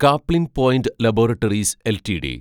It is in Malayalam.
Caplin Point Laboratories LTD